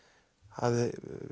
hafði